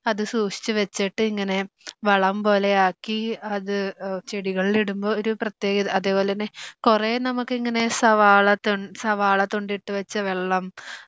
അത് സൂക്ഷിച്ചു വെച്ചിട്ട് ഇങ്ങനെ വളം പോലെയാക്കി അത് ചെടികളിൽ ഇടുമ്പോ ഒരു പ്രത്യേകത അതുപോലെ തന്നെ കുറെ നമുക്ക് ഇങ്ങനെ സവാള തൊണ്ട് സവാള തൊണ്ട് ഇട്ട് വെച്ച വെള്ളം